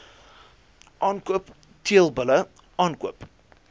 aankoop teelbulle aankoop